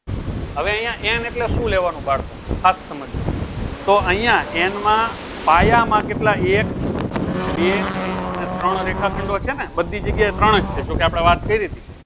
હવે અયીયા n એ શું લેવાનું બાળકો ખાસ સમાંજ્સો તોં અયીયા n માં પાયા માં કેટલા એક બે અને ત્રણ રેખા ખંડો છે ને બધી જગ્યા ત્રણ જ છે જો કી આપળે બાત કરી હતી